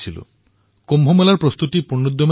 মই দেখিলো যে কুম্ভৰ প্ৰস্তুতি তুংগত উঠিছে